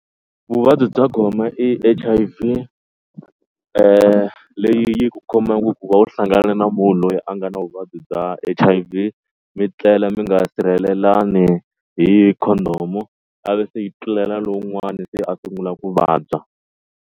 Vuvabyi bya gome i H_I_V leyi yi ku khomaka hikuva u hlangane na munhu loyi a nga na vuvabyi bya H_I_V mi tlela mi nga sirhelelani hi condom a ve se yi tlulela lowun'wani se a sungula ku vabya.